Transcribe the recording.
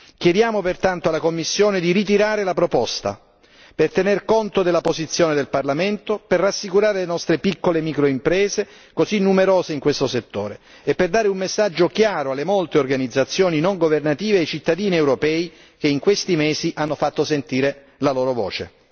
Chiediamo pertanto alla Commissione di ritirare la proposta, per tener conto della posizione del Parlamento, per rassicurare le nostre piccole microimprese, così numerose in questo settore, e per dare un messaggio chiaro alle molte organizzazioni non governative e ai cittadini europei che in questi mesi hanno fatto sentire la loro voce.